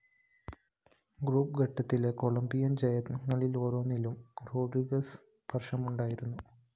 group ഘട്ടത്തിലെ Colombian‍ ജയങ്ങളിലോരോന്നിലും Rodriguez സ്പര്‍ശമുണ്ടായിരുന്നു